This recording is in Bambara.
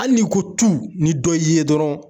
Hali ni ko tu ni dɔ y'i ye dɔrɔn